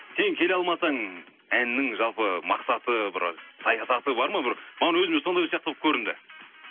сен келе алмасаң әнінің жалпы мақсаты бір саясаты бар ма бір маған өзіме сондай сияқты болып көрінді